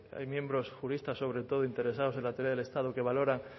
hay miembros juristas sobre todo interesados en la teoría del estado que valora